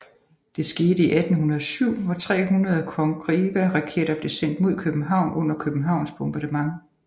Det skete i 1807 hvor 300 Congreveraketter blev sendt mod København under Københavns bombardement